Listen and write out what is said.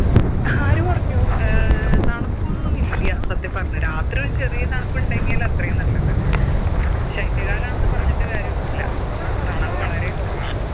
ആര് പറഞ്ഞു ഏർ തണുപ്പൊന്നുമില്ല്യ സത്യം പറഞ്ഞ രാത്രി ഒരു ചെറിയ തണുപ്പുണ്ടെങ്കിൽ അത്രയും നല്ലത് ശൈത്യ കാലാണെന്ന് പറഞ്ഞിട്ട് കാര്യൊന്നുല്ല തണുപ്പ് വളരെ കൊറവാണ്